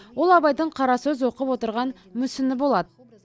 ол абайдың қара сөз оқып отырған мүсіні болады